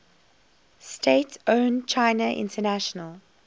state owned china international